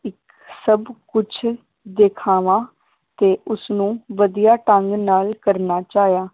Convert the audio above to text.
ਸਬ ਕੁਛ ਦਿਖਾਵਾ ਤੇ ਉਸਨੂੰ ਵਧੀਆ ਢੰਗ ਨਾਲ ਕਰਨਾ ਚਾਹਿਆ।